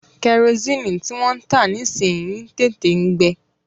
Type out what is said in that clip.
Kẹrosini tí wọ́n ń tà nísìyi ń tètè ń gbe.